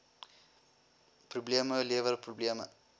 probleme lewer probleme